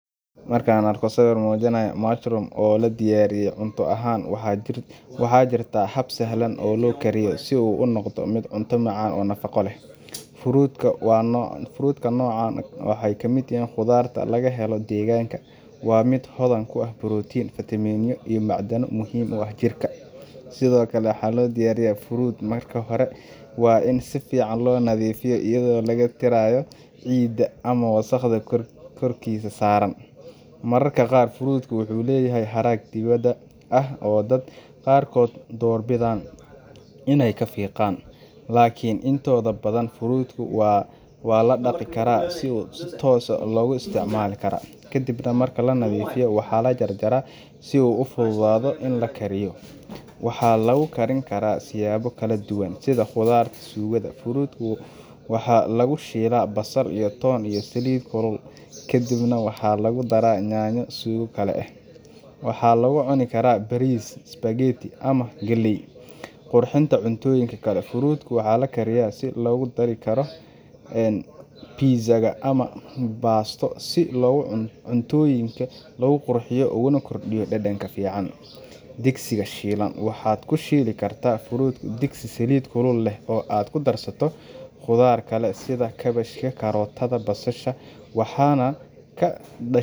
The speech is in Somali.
Markan arko sawiir mujinaaya, waxa jira hab fudud oo loo sameeyo, qudaarta noocan nafaqo ayeey ledahay, marka hore waa in si fican loo nadiifiya, waa lakarjaraa si loo kariyo, waxaa lagu daraa nyanya iyo saliid, waxaa lagu cunaa bariis, waxaa kushiili karta digsi waxaana kushiili kartaa qudaar kale sida kabachka.